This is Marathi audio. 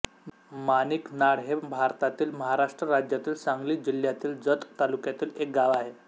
माणिकनाळ हे भारतातील महाराष्ट्र राज्यातील सांगली जिल्ह्यातील जत तालुक्यातील एक गाव आहे